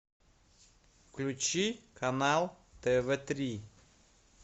включи канал тв три